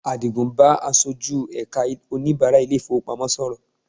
Àdìgún ń bá aṣojú ẹ̀ka oníbàrá ilé-ìfowópamọ́ sọ̀rọ̀